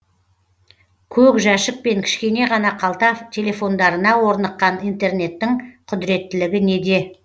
көк жәшік пен кішкене ғана қалта телефондарына орныққан интернеттің құдіреттілігі неде